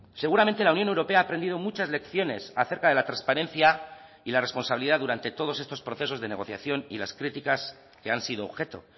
seguramente la unión europea ha aprendido muchas lecciones acerca de la transparencia y la responsabilidad durante todos estos procesos de negociación y las críticas que han sido objeto